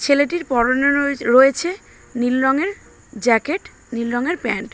ছেলেটির পরনে রয়েছে নীল রংয়ের জ্যাকেট নীল রংয়ের প্যান্ট ।